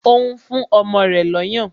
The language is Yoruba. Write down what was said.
O n fún ọmọ rẹ̀ lọ́yàn